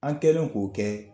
An kɛlen k'o kɛ